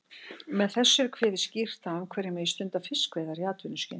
Með þessu er kveðið skýrt á um hverjir megi stunda fiskveiðar í atvinnuskyni.